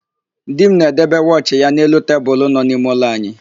Di m na-edebe wọchị ya n'elu tebulu nọ n'ime ụlọ anyị.